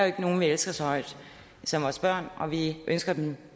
ikke nogen vi elsker så højt som vores børn og vi ønsker dem